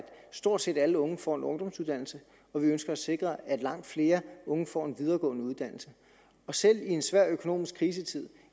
stort set alle unge får en ungdomsuddannelse og vi ønsker at sikre at langt flere unge får en videregående uddannelse og selv i en svær økonomisk krisetid